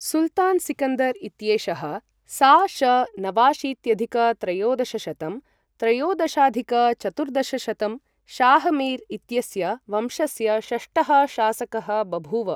सुल्तान् सिकन्दर् इत्येषः सा.श.नवाशीत्यधिक त्रयोदशशतं त्रयोदशाधिक चतुर्दशशतं, शाहमीर् इत्यस्य वंशस्य षष्ठः शासकः बभूव।